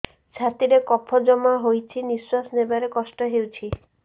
ଛାତିରେ କଫ ଜମା ହୋଇଛି ନିଶ୍ୱାସ ନେବାରେ କଷ୍ଟ ହେଉଛି